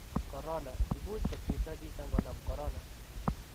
korona:Imuchi kosiirto chito ngonam korona?